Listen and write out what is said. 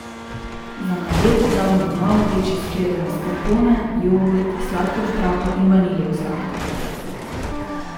Za nadev damo v malo večjo skledo maskarpone, jogurt, sladkor v prahu in vaniljev sladkor.